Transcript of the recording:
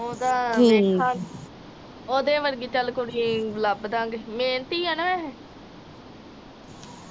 ਉਹ ਤਾ ਦੇਖਾ ਓਹਦੀ ਵਰਗੀ ਚੱਲ ਕੁੜੀ ਏ ਲੱਭ ਦਾਗੇ। ਮੇਨਤੀ ਆ ਨਾ ਏਹੇ